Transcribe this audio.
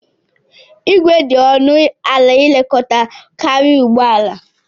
Igwe dị ọnụ ala ilekọta karịa ụgbọala.